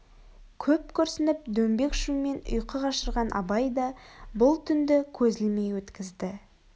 көп күрсініп дөңбек шумен ұйқы қашырған абай да бұл түнді көз ілмей өткізді